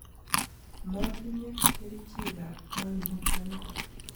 Motinye kerichekab koimutioniton.